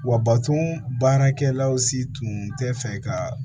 Wa baton baarakɛlaw si tun tɛ fɛ ka